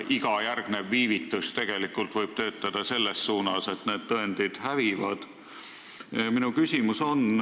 Iga järgnev viivitus võib viia selleni, et tõendid hävivad.